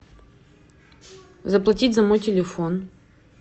заплатить за мой телефон